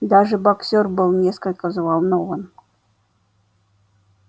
даже боксёр был несколько взволнован